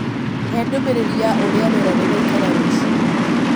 hee ndumĩriri ya ũrĩa rĩera rĩgaĩkara ruciu